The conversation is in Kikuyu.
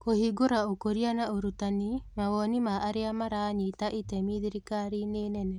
Kũhingũra Ũkũria na Ũrutani, mawoni ma arĩa maranyita itemi thirikariinĩ nene